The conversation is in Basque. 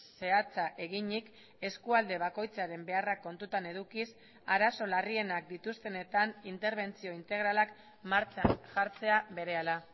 zehatza eginik eskualde bakoitzaren beharrak kontutan edukiz arazo larrienak dituztenetan interbentzio integralak martxan jartzea berehala